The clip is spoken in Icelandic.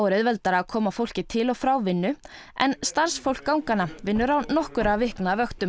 auðveldara að koma fólki til og frá vinnu en starfsfólk vinnur á nokkurra vikna vöktum